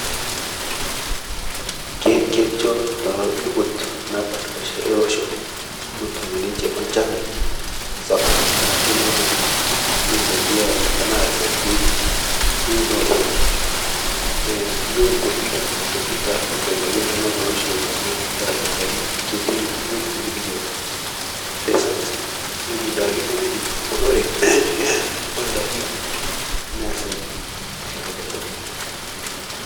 Keisho libot napashpasha elosho metum ninche nchan sapuk naidim nasaidia tanasastein unore iyolo nkopi duake tana aprika tanaa telosho leaprika duake ketii ng'ojitin nikijo desat ng'oji nemedim duake unore ndaki nasai aiko neja.